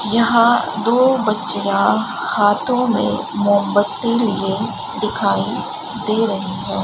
यहां दो बच्चियां हाथों में मोमबत्ती लिए दिखाई दे रही है।